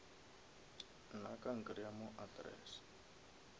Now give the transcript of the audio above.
nna ka nkreya mo address